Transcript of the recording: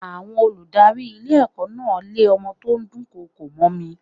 Àwọn olùdarí ilé ẹ̀kọ́ náà lé ọmọ tó ń dùn kọkò mọ́ ni.